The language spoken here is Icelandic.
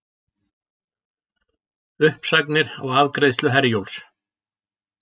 Uppsagnir á afgreiðslu Herjólfs